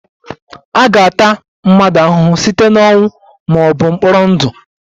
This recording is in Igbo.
A ga-ata mmadụ ahụhụ site na ọnwụ ma ọ bụ mkpọrọ ndụ